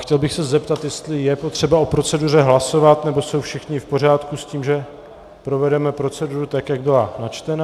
Chtěl bych se zeptat, jestli je potřeba o proceduře hlasovat, nebo jsou všichni v pořádku s tím, že provedeme proceduru tak, jak byla načtena.